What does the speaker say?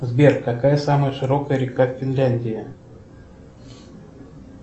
сбер какая самая широкая река в финляндии